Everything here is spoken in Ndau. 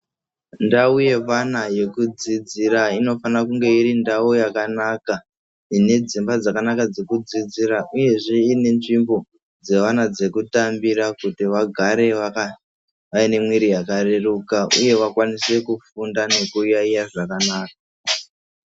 Ndau yevana yekudzidzira inofane kunge iri ndau yakanaka ine dzimba dzakanaka dzekudzidzira uyezve ine nzvimbo dzevana dzekutambira kuti vagare vaine mwiri yakareruka uye vakawanise kufunda nekuyaiya zvakanaka.